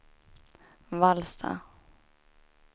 Vallsta